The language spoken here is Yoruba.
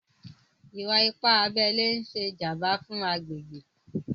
Ìwà-ìpà àbẹlè n ṣè jàmbà fún àgbègbè.